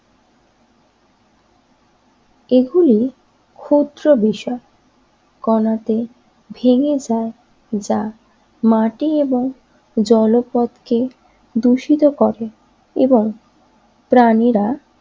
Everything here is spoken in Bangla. এগুলি ক্ষুদ্র বিষয় কণাতে ভেঙ্গে যায় যা মাটি এবং জলপথ কে দূষিত করে এবং প্রাণীরা